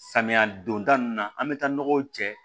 Samiya donda nin na an bɛ taa nɔgɔw cɛ